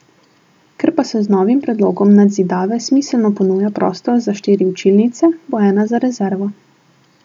Ker pa se z novim predlogom nadzidave smiselno ponuja prostor za štiri učilnice, bo ena za rezervo.